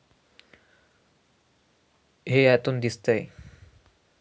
हे यातून दिसतंय.